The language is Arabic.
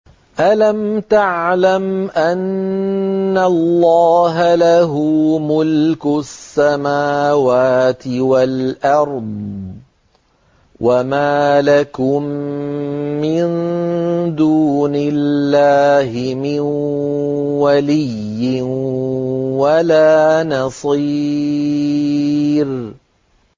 أَلَمْ تَعْلَمْ أَنَّ اللَّهَ لَهُ مُلْكُ السَّمَاوَاتِ وَالْأَرْضِ ۗ وَمَا لَكُم مِّن دُونِ اللَّهِ مِن وَلِيٍّ وَلَا نَصِيرٍ